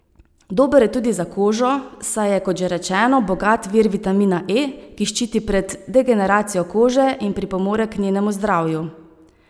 Dober je tudi za kožo, saj je, kot že rečeno, bogat vir vitamina E, ki ščiti pred degeneracijo kože in pripomore k njenemu zdravju.